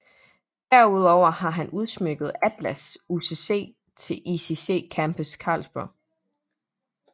Derudover har han udsmykket Atlas UCC til ICC Campus Carlsberg